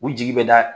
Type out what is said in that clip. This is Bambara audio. U jigi bɛ da